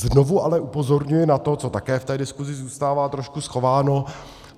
Znovu ale upozorňuji na to, co také v té diskuzi zůstává trošku schováno.